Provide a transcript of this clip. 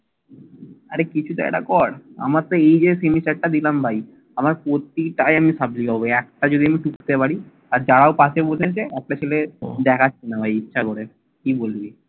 আরে কিছু তো একটা কর। আমার তো এই যে semester টা দিলাম ভাই প্রতিটায় আমি supple হবো একটা যদি আমি টুকতে পারি। আর যাও পাশে বসেছে একটা ছেলে দেখাচ্ছে না ভাই ইচ্ছে করে। কি বলবি?